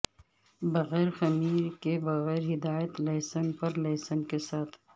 بغیر خمیر کے بغیر ہدایت لہسن پر لہسن کے ساتھ